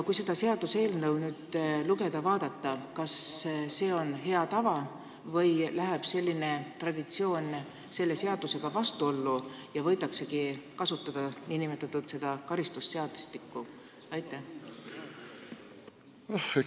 Kui nüüd vaadata teie seaduseelnõu, siis kas see on hea tava või läheb selline traditsioon seaduseelnõuga vastuollu ja võidaksegi kasutada nn karistusseadustikku?